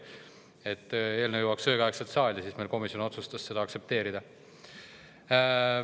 Selleks, et eelnõu jõuaks õigeaegselt saali, otsustas komisjon seda aktsepteerida.